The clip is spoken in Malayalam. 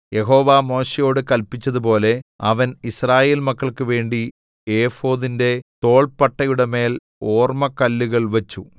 യഹോവ മോശെയോട് കല്പിച്ചതുപോലെ അവൻ യിസ്രായേൽമക്കൾക്കുവേണ്ടി ഏഫോദിന്റെ തോൾപ്പട്ടയുടെമേൽ ഓർമ്മക്കല്ലുകൾ വച്ചു